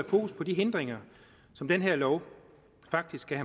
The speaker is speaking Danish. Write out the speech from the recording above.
fokus på de hindringer som den her lov faktisk kan